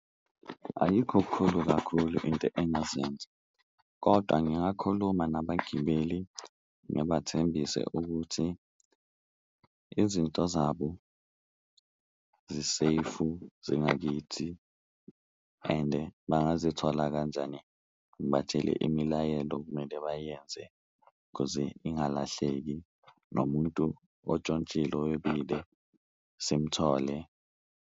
Ayikho kukhulu kakhulu into engazenza kodwa ngingakhuluma nabagibeli, ngibathembise ukuthi izinto zabo ziseyifu zingakithi ende bangazithola kanjani, ngibatshele imilayelo okumele bayenze khuze ingalahleki. Nomuntu ontshontshile owebile simuthole.